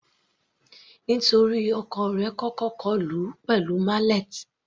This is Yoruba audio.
Nítorí ọkọ rẹ̀ kọ́kọ́ kọlù ú pẹ̀lú mallet.